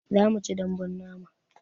Zamuci daɓbun nama